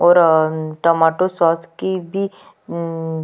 और अ tomato sauce की भी --